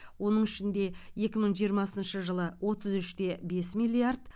оның ішінде екі мың жиырмасыншы жылы отыз үш те бес миллиард